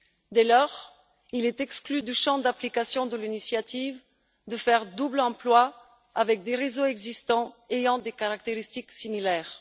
Dès lors, il est exclu, dans le champ d'application de l'initiative, de faire double emploi avec des réseaux existants ayant des caractéristiques similaires.